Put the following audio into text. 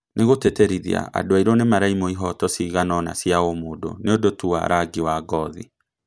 Nĩgũtĩtĩrithia andũ airũ nĩmaraimwo kĩhooto ciganona cia ũmũndũ nĩũndũ tu wa rangi wa ngothi